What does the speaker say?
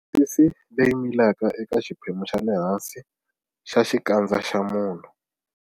Misisi leyi milaka eka xiphemu xa le hansi xa xikandza xa munhu.